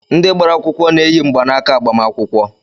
Ndị gbara akwụkwọ na-eyi mgbanaaka agbamakwụkwọ.